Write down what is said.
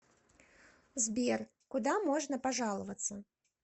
сбер куда можно пожаловаться